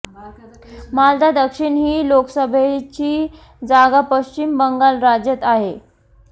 मालदा दक्षिण ही लोकसभेची जागा पश्चिम बंगाल राज्यात आहे